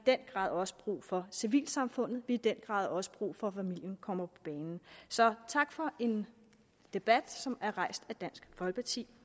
den grad også brug for civilsamfundet vi har i den grad også brug for at familien kommer på banen så tak for en debat som er rejst af dansk folkeparti